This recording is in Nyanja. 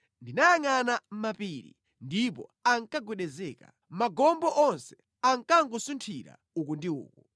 Ndinayangʼana mapiri, ndipo ankagwedezeka; magomo onse ankangosunthira uku ndi uku.